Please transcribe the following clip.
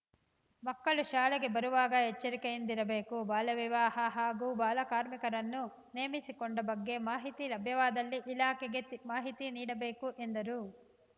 ಮಕ್ಕಳು ಶಾಲೆಗೆ ಬರುವಾಗ ಎಚ್ಚರಿಕೆಯಿಂದಿರಬೇಕು ಬಾಲ್ಯ ವಿವಾಹ ಹಾಗೂ ಬಾಲ ಕಾರ್ಮಿಕರನ್ನು ನೇಮಿಸಿಕೊಂಡ ಬಗ್ಗೆ ಮಾಹಿತಿ ಲಭ್ಯವಾದಲ್ಲಿ ಇಲಾಖೆಗೆ ಮಾಹಿತಿ ನೀಡಬೇಕು ಎಂದರು